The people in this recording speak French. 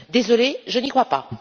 Désolée, je n'y crois pas.